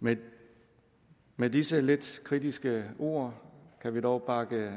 med med disse lidt kritiske ord kan vi dog bakke